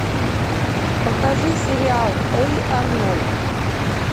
покажи сериал эй арнольд